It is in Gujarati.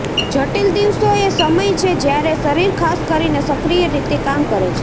જટિલ દિવસો એ સમય છે જ્યારે શરીર ખાસ કરીને સક્રિય રીતે કામ કરે છે